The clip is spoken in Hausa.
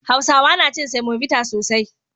Hausawa na cin semobita sosai.